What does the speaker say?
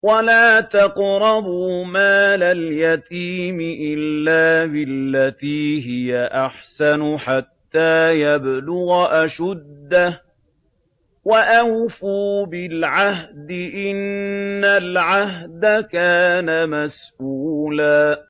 وَلَا تَقْرَبُوا مَالَ الْيَتِيمِ إِلَّا بِالَّتِي هِيَ أَحْسَنُ حَتَّىٰ يَبْلُغَ أَشُدَّهُ ۚ وَأَوْفُوا بِالْعَهْدِ ۖ إِنَّ الْعَهْدَ كَانَ مَسْئُولًا